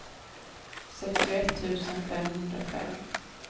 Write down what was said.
sextioett tusen femhundrafem